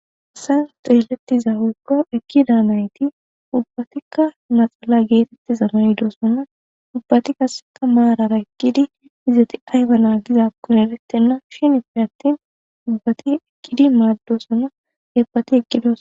Seens xeelettiza woykko ekki daanayti ubbatikka naxala geetetti zamanidoosonna ubbati kaseka maarara ekkidi izati ayba naa gizakkun erettenna shinife attin ubbati ekkidi maaddosonna ebpati eqqidos.